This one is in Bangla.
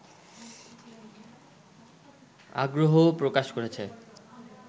আগ্রহও প্রকাশ করেছে